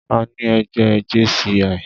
Àní ẹgbẹ́ JCI.